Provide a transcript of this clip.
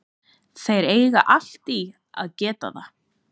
Þeir eiga allt í að geta það.